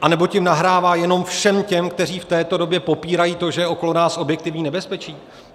Anebo tím nahrává jenom všem těm, kteří v této době popírají to, že je okolo nás objektivní nebezpečí?